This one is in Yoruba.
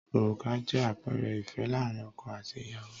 Òrùka jẹ́ àpẹẹrẹ ìfẹ́ láàárín ọkọ àti ìyàwó